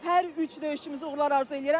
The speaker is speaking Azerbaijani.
Hər üç döyüşçümüzə uğurlar arzu eləyirəm.